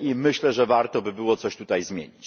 i myślę, że warto by było coś tutaj zmienić.